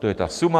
To je ta suma.